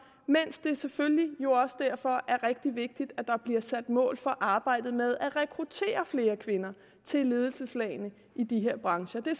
mens det selvfølgelig også derfor er rigtig vigtigt at der bliver sat mål for arbejdet med at rekruttere flere kvinder til ledelseslagene i de her brancher det